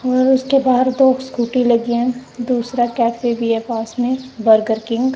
और उसके बाहर दो स्कूटी लगी हैं दूसरा कैफे भी है पास में बर्गर किंग ।